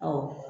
Ɔ